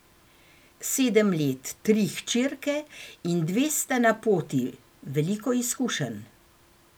Sedem let, tri hčerke in dve sta na poti, veliko izkušenj.